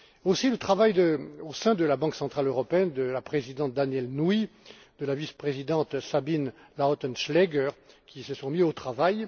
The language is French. ainsi que le travail, au sein de la Banque centrale européenne, de la présidente DanièleNouy, de la vice présidente SabineLautenschläger, qui se sont mises au travail.